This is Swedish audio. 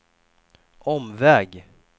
omväg